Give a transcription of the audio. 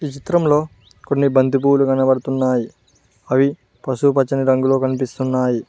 చిత్రంలో కొన్ని బంతిపూలు కనబడుతున్నాయి అవి పసుపుపచ్చని రంగులో కనిపిస్తున్నాయి.